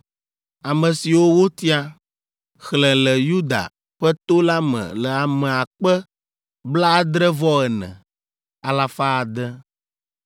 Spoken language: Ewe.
Ame siwo wotia, xlẽ le Yuda ƒe to la me le ame akpe blaadre-vɔ-ene, alafa ade (74,600).